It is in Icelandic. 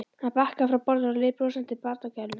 Hann bakkaði frá borðinu og leit brosandi til barnagælunnar.